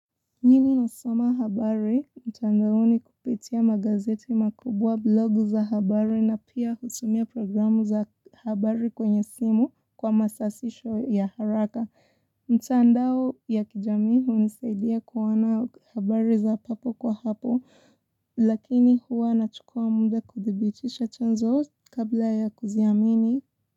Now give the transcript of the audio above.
Mimi husoma habari mtandaoni kupitia magazeti makubwa, blogu za habari na pia husomea programu za habari kwenye simu kwa masasisho ya haraka. Mtaandao ya kijamii hunisaidia kuona habari za papo kwa hapo, lakini huwa nachukua muda kudhibitisha chanzo kabla ya kuziamini.